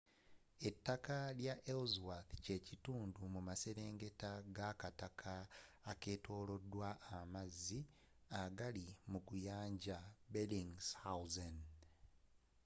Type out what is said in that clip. ettaka lya ellsworth kyekitundu mumaserengeta gakataka akeetolodwa amazzi agali mu guyanja bellingshausen